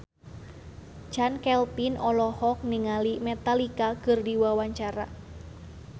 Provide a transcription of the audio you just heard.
Chand Kelvin olohok ningali Metallica keur diwawancara